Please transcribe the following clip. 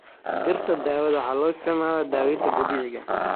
Dhirta daawada waxaa loo isticmaalaa daaweynta dabiiciga ah.